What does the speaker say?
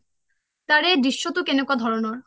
তাৰে দৃশ্যটো কেনেকুৱা ধৰণৰ ?